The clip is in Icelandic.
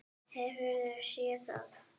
Hefurðu séð það?